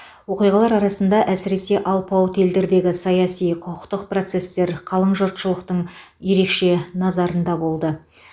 оқиғалар арасында әсіресе алпауыт елдердегі саяси құқықтық процестер қалың жұршылықтың ерекше назарында болды